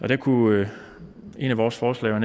der kunne netop vores forslag